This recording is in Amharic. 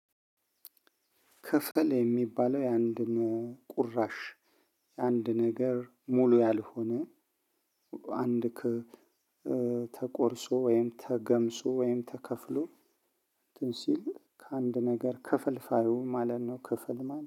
ክፍል የሚባለው የአንድ ቁራሽ የአንድ ነገር ሙሉ ያልሆነ አንድ ክብ ተቆርሶ ወይም ተገምሶ ወይም ተከፍሎ እንትን ሲል ከአንድ ነገር ክፍልፋዩ ማለት ነው። ክፍል ማለት